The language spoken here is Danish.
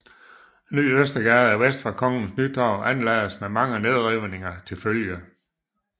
Ny Østergade vest for Kongens Nytorv anlagdes med mange nedrivninger til følge